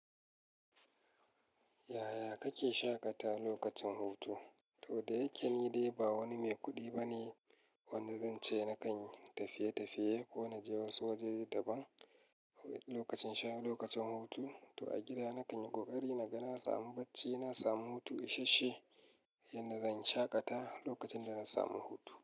Yaya kake shaƙata lokacin hutu? To da yake ni dai ba wani mai kuɗi bane wanda zance nakan tafiye tafiye ko na je wasu wajaje daban lokacin sha lokacin hutu. To a gida nakan yi ƙoƙari na ga na samu bacci, na samu hutu ishashshe, yanda zan shaƙata lokacin da na samu hutu.